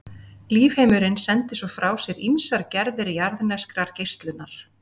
Lífheimurinn sendir svo frá sér ýmsar gerðir jarðneskrar geislunar.